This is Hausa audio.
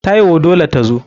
Taiwo dole tazo.